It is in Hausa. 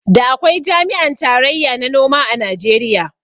Da akwai jami'an tarayya na noma a Najeriya